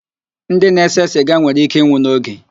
Ndị na-ese siga nwere íké ịnwụ n'oge.